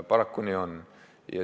Paraku nii on.